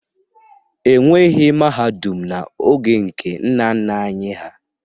E nweghi mahadum n'oge nke nna nna anyị ha.